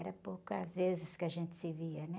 Era poucas vezes que a gente se via, né?